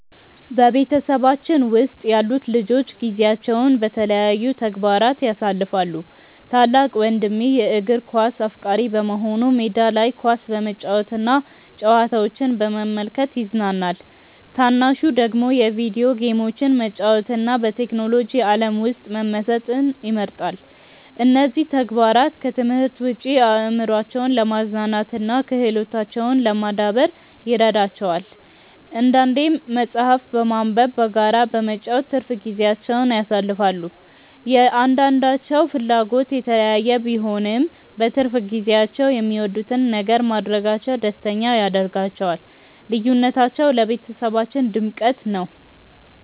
በቤተሰባችን ውስጥ ያሉት ልጆች ጊዜያቸውን በተለያዩ ተግባራት ያሳልፋሉ። ታላቅ ወንድሜ የእግር ኳስ አፍቃሪ በመሆኑ ሜዳ ላይ ኳስ በመጫወትና ጨዋታዎችን በመመልከት ይዝናናል። ታናሹ ደግሞ የቪዲዮ ጌሞችን መጫወትና በቴክኖሎጂ ዓለም ውስጥ መመሰጥ ይመርጣል። እነዚህ ተግባራት ከትምህርት ውጭ አእምሯቸውን ለማዝናናትና ክህሎታቸውን ለማዳበር ይረዷቸዋል። አንዳንዴም መጽሐፍትን በማንበብና በጋራ በመጫወት ትርፍ ጊዜያቸውን ያሳልፋሉ። የእያንዳንዳቸው ፍላጎት የተለያየ ቢሆንም፣ በትርፍ ጊዜያቸው የሚወዱትን ነገር ማድረጋቸው ደስተኛ ያደርጋቸዋል። ልዩነታቸው ለቤተሰባችን ድምቀት ነው።